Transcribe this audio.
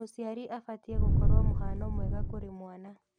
Mũciari abatiĩ gũkorwo mũhano mwega kũrĩ mwana.